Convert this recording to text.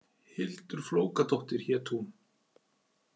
Hildur Flókadóttir hét hún.